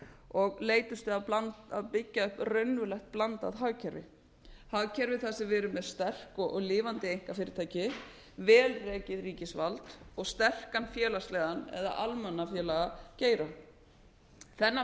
og leitumst við að byggja upp raunverulegt blandað hagkerfi hagkerfi þar sem við erum með sterk og lifandi einkafyrirtæki vel rekið ríkisvald og sterkan félagslegan eða almennan félagsgeira einn